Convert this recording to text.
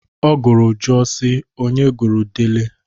Ọ gụrụ jụọ si, "Onye gburu dele?"